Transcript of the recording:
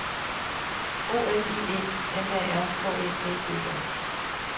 O L I E M A R K E D E R